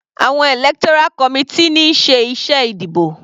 Àwọn electoral committee ní ń ṣe iṣẹ́ ìdìbò.